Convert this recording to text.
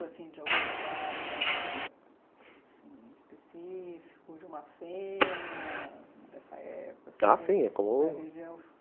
Você lembra de algum lugar específico, de uma cena dessa época, assim? ah, sim é comum